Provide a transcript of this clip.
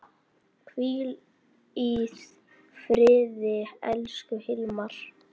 Hvíl í friði, elsku Hilmar.